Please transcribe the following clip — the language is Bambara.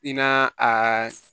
I naa aa